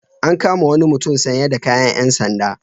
An kama wani mutum sanye da kayan ƴan sanda.